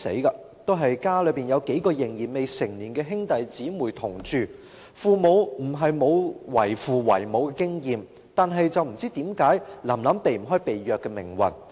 "臨臨"家中也有數名未成年的兄弟姊妹同住，她的父母不是沒有為人父母的經驗，但不知道為何"臨臨"避不開被虐的命運？